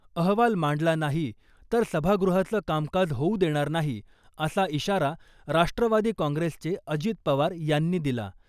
अहवाल मांडला नाही , तर सभागृहाचं कामकाज होऊ देणार नाही , असा इशारा राष्ट्रवादी काँग्रेसचे अजित पवार यांनी दिला .